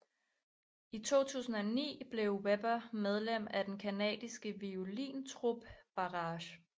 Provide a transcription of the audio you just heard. I 2009 blev Weber medlem af den canadiske violintrup Barrage